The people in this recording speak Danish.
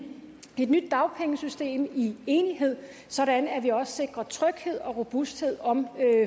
nyt dagpengesystem i enighed sådan at vi også sikrer tryghed og robusthed om